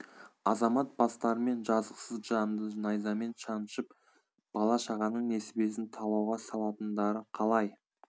азамат бастарымен жазықсыз жанды найзамен шанышып бала шағаның несібесін талауға салатындары қалай